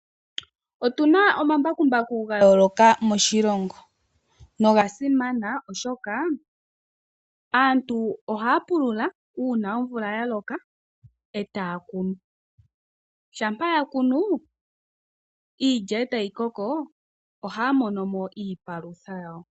Otuna omambakumbaku ga yooloka moshilongo noga simana oshoka aantu ohaya pulula uuna omvula ya loka e ta ya kunu, shampa ya kunu iilya e ta yi koko ohaya mono mo iipalutha yawo.